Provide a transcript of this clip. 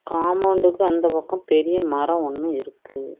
காம்பவுண்டுக்கு அந்த பக்கம் பெரிய மரம் ஒன்னு இருக்கு.